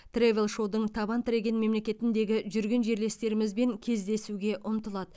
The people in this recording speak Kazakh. тревел шоудың табан тіреген мемлекетіндегі жүрген жерлестерімізбен кездесуге ұмтылады